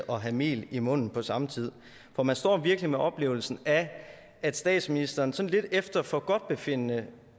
og have mel i munden på samme tid for man står virkelig med oplevelsen af at statsministeren sådan lidt efter forgodtbefindende